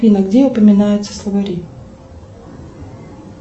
афина где упоминаются словари